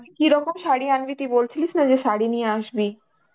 কিরকম শাড়ি আনবি, তুই বলছিলিস না যে শাড়ি নিয়ে আসবি.